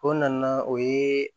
O nana o ye